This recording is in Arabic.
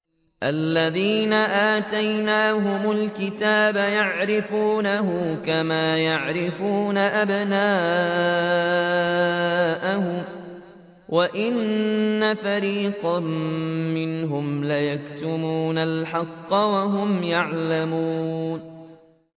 الَّذِينَ آتَيْنَاهُمُ الْكِتَابَ يَعْرِفُونَهُ كَمَا يَعْرِفُونَ أَبْنَاءَهُمْ ۖ وَإِنَّ فَرِيقًا مِّنْهُمْ لَيَكْتُمُونَ الْحَقَّ وَهُمْ يَعْلَمُونَ